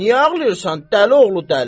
Niyə ağlayırsan dəli oğlu dəli?